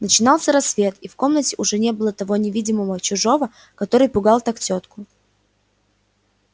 начинался рассвет и в комнатке уже не было того невидимого чужого который пугал так тётку